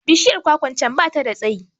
Bishiyar kwakwa can da bata da tsayi